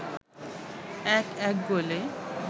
১-১ গোলে